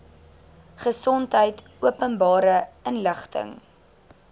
gesondheid openbare inligting